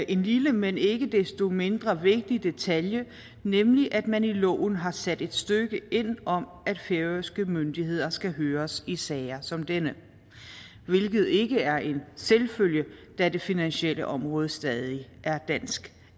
en lille men ikke desto mindre vigtig detalje nemlig at man i loven har sat et stykke ind om at færøske myndigheder skal høres i sager som denne hvilket ikke er en selvfølge da det finansielle område stadig er et dansk